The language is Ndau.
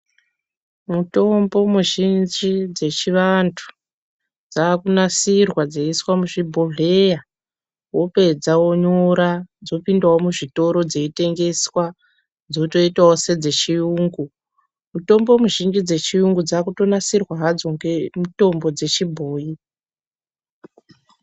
Mitombo muzhinji dzechivantu dzakunasirwa dzeiswa muzvibhohleya wopedza wonyora dzopindawo muzviitoro dzeitengeswa dzotoitawo sedzechiyungu mutombo mizhinji dzechiyungu dzakutonasirwa hadzo ngemitombo dzechibhoyi.